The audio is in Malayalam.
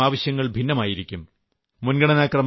ഓരോരുത്തരുടെയും ആവശ്യങ്ങൾ ഭിന്നമായിരിക്കും